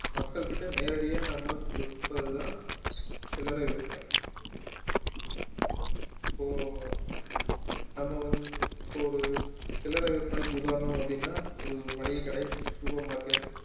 மக்கள்கிட்ட நேரடியா நம்ம விற்பதுதான் சில்லறை விற்பனை இப்போ நம்ம வந்து இப்போ ஒரு சில்லறை விற்பனைக்கு உதாரணம் அப்படின்னா ஒரு மளிகை கடை super market